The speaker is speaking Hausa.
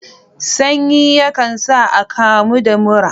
Sanyi yakan sa a akamu da mura